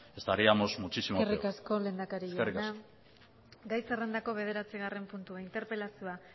estaríamos muchísimo peor eskerrik asko eskerrik asko lehendakari jauna gai zerrendako bederatzigarren puntua interpelazioa